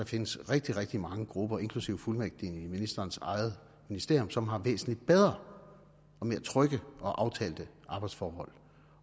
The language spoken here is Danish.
findes rigtig rigtig mange grupper inklusive fuldmægtigene i ministerens eget ministerium som har væsentlig bedre og mere trygge og aftalte arbejdsforhold